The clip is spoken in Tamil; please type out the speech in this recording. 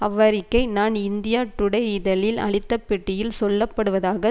அவ்வறிக்கை நான் இந்தியா டுடே இதழில் அளித்த பேட்டியில் சொல்லப்படுவதாக